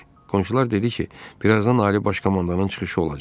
Qonşular dedi ki, birazdan Ali Baş Komandanın çıxışı olacaq.